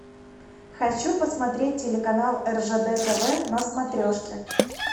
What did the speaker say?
хочу посмотреть телеканал ржд тв на смотрешке